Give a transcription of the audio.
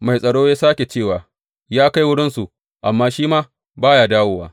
Mai tsaro ya sāke cewa, Ya kai wurinsu, amma shi ma ba ya dawowa.